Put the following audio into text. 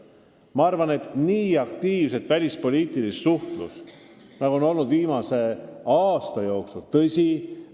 Ma arvan, et meie aktiivne välispoliitiline suhtlus viimase aasta jooksul on kiiduväärt.